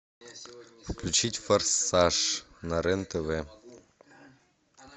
включить форсаж на рен тв